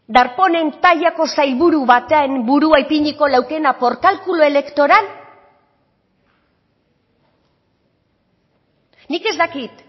darpónen tailako sailburu baten burua ipiniko leukeela por cálculo electoral nik ez dakit